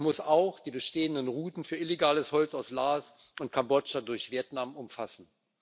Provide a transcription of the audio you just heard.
Es muss auch die bestehenden Routen für illegales Holz aus Laos und Kambodscha durch Vietnam umfassen.